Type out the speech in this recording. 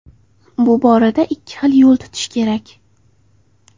Bu borada ikki xil yo‘l tutish kerak.